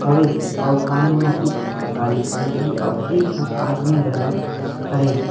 हवे अऊ सामने म कुछ गाड़ी खड़े हे अऊ ठन आदमी घलो खड़े हे।